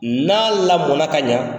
N'a lamɔna ka ɲa,